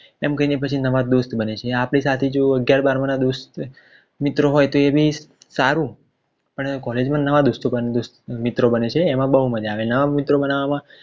તેમ કરીને પછી નવા દોસ્ત બને છે આપણી સાથે જો કોઈ અગિયાર બારમાના દોસ્ત મિત્રો હોય તો એ બી સારું પણ કોલેજમાં નવા દોસ્તો બને છે એમાં બોવ માજા આવે છે નવા મિત્રો બનાવવામાં